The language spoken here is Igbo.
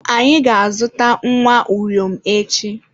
Anyị ga-azụta nwa uriom echi